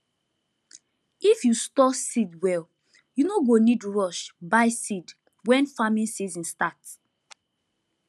if you store seed well you no go need rush buy seed when farming season start